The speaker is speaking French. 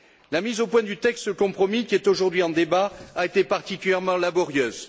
La mise au point du texte de compromis qui est aujourd'hui en débat a été particulièrement laborieuse.